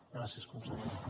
gràcies consellera